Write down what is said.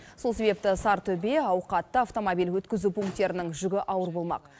сол себепті сарытөбе ауқатты автомобиль өткізу пункттерінің жүгі ауыр болмақ